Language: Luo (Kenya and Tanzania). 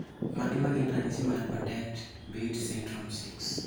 Mage magin ranyisi mag Bardet Biedl syndrome 6?